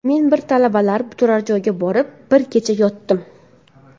Men bir talabalar turar joyiga borib, bir kecha yotdim.